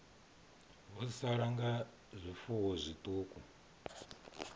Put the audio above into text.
vho sala nga zwifuwo zwiṱuku